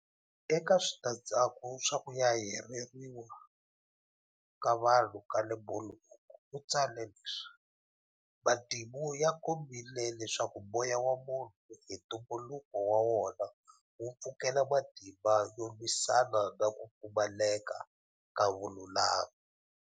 Eka switandzhaku swa ku yayarheriwa ka vanhu ka le Bulhoek u tsale leswi- Matimu ya kombile leswaku moya wa munhu hi ntumbuluko wa wona wu pfukela matimba yo lwisana na ku pfumaleka ka vululami.